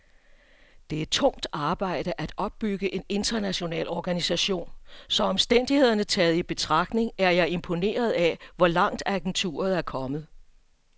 Det er tungt arbejde at opbygge en international organisation, så omstændighederne taget i betragtning er jeg imponeret af, hvor langt agenturet er kommet.